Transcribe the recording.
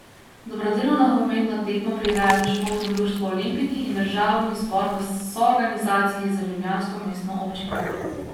Dobrodelno nogometno tekmo prirejata Športno društvo Olimpiki in državni zbor v soorganizaciji z ljubljansko mestno občino.